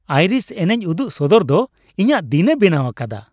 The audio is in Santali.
ᱟᱭᱨᱤᱥ ᱮᱱᱮᱪ ᱩᱫᱩᱜ ᱥᱚᱫᱚᱨ ᱫᱚ ᱤᱧᱟᱹᱜ ᱫᱤᱱᱮ ᱵᱮᱱᱟᱣ ᱟᱠᱟᱫᱟ ᱾